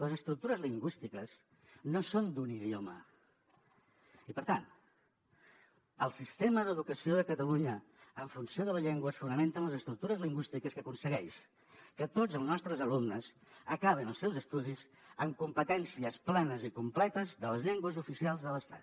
les estructures lingüístiques no són d’un idioma i per tant el sistema d’educació de catalunya en funció de la llengua es fonamenta en les estructures lingüístiques que aconsegueix que tots els nostres alumnes acabin els seus estudis amb competències plenes i completes de les llengües oficials de l’estat